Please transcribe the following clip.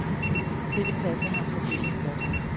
Dette passede ham særdeles godt.